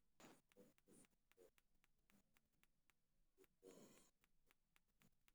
Sababta saxda ah ee cudurka Freiberg si liidata looma fahmin.